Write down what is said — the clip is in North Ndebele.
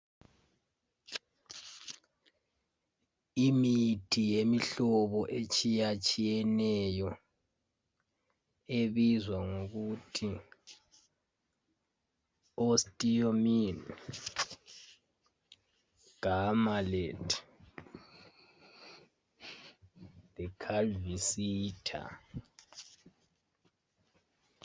Imithi yemihlobo etshiya tshiyeneyo ebizwa ngokuthi OSTEOMIN, Gamalate le Calcivita.